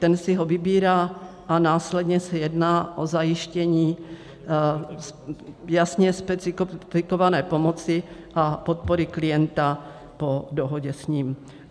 Ten si ho vybírá a následně se jedná o zajištění jasně specifikované pomoci a podpory klienta po dohodě s ním.